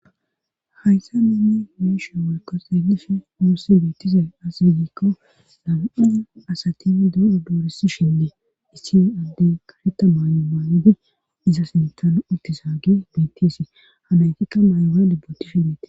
Hayssa nuni be'ihin woyko xeelish nuossi biittizay as bigiikko sama7aza asatini doro dooresi shindee issin adde karetta maano maanide iza sintana uttisaage bitsi hanaytikka may7ora libbotishin dete.